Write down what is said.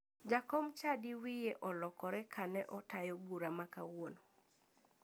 Jakom chadi wiye olokore kane otayo bura ma kawuono.